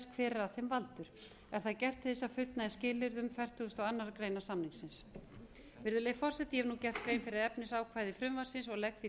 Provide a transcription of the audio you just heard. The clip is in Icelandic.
hver er að þeim valdur er það gert til þess að fullnægja skilyrðum fertugasta og aðra grein samningsins virðulegi forseti ég hef nú gert grein fyrir efnisákvæði frumvarpsins og legg því